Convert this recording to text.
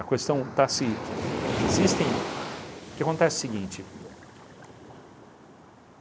A questão está se a... Existem... O que acontece é o seguinte.